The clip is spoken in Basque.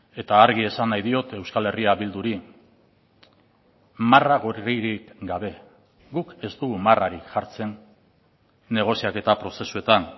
eta argi esan nahi diot euskal herria bilduri marra gorririk gabe guk ez dugu marrarik jartzen negoziaketa prozesuetan